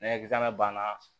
banna